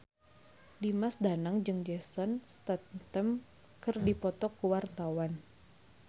Dimas Danang jeung Jason Statham keur dipoto ku wartawan